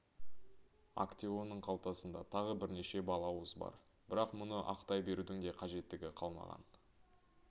актеонның қалтасында тағы бірнеше балауыз бар бірақ мұны ақтай берудің де қажеттігі қалмаған